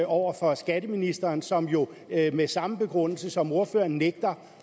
over for skatteministeren som jo med samme begrundelse som ordføreren nægter